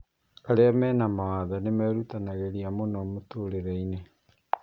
Arĩa me mawathe angĩ nĩmerutanagĩria mũno mũtũrĩreinĩ